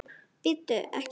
Bíddu. ekki hérna!